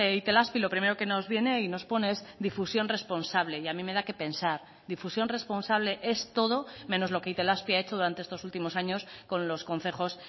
itelazpi lo primero que nos viene y nos pone es difusión responsable y a mí me da qué pensar difusión responsable es todo menos lo que itelazpi ha hecho estos últimos años con los concejos